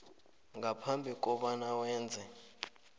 ngaphambi kobana wenze